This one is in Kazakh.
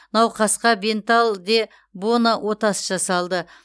науқасқа бенталл де боно отасы жасалды